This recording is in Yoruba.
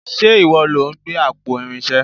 Ṣe ìwọ lo gbé àpò Irinṣé?